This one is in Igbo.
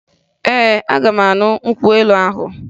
Ee, aga m aṅụ nkwụ elu ahụ